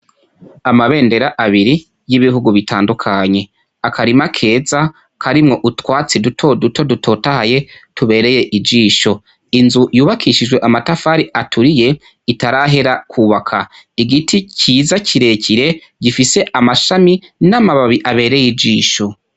Amabendera abiri y'ibihugu bitandukanye, akarima keza karimwo utwatsi duto duto dutotahaye tubereye ijisho, inzu yubakishijwe amatafari aturiye itarahera kubaka, igiti ciza kirekire gifise amashami n'amababi abereye ijisho.